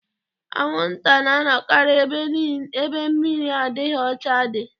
Anwụnta na-anọkarị ebe mmiri adịghị ọcha dị.